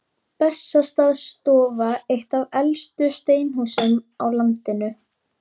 Bessastaðastofa, eitt af elstu steinhúsum á landinu.